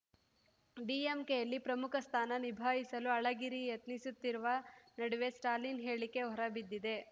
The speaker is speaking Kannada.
ಡಿಎಂಕೆಯಲ್ಲಿ ಪ್ರಮುಖ ಸ್ಥಾನ ನಿಭಾಯಿಸಲು ಅಳಗಿರಿ ಯತ್ನಿಸುತ್ತಿರುವ ನಡುವೆ ಸ್ಟಾಲಿನ್‌ ಹೇಳಿಕೆ ಹೊರಬಿದ್ದಿದೆ